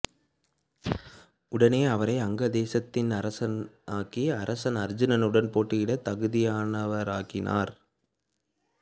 உடனே அவரை அங்கதேசத்தின் அரசனாக்கி அரசன் அர்ஜூனனுடன் போட்டியிட தகுதியானவனாக்கினார்